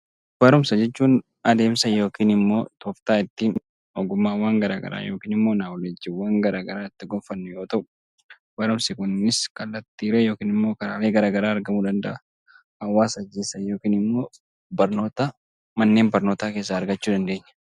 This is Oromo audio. Barumsa jechuun tooftaa ittiin ogummaa uuman yookiin ogummaawwan garaagaraa itti gonfannu yoo ta'u, barumsi kunis karaalee garaagaraa argamuu danda'a. Hawaasa keessaa yookiin immoo barnoota manneen barnootaa keessaa argachuu dandeenya.